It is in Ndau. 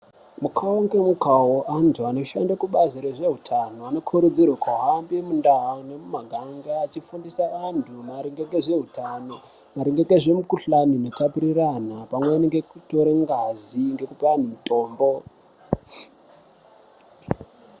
Kukuwo ngemukuwo, antu anoshande kubazi ezveutano anokurudzirwa kuhamba mundau nemumaganga eifundise antu ngezveutano, maringe nezvimikhuhlane inotapuriranwa pamwe nekutore ngazi nekupe antu mitombo.